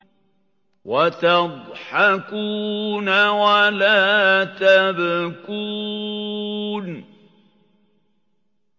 وَتَضْحَكُونَ وَلَا تَبْكُونَ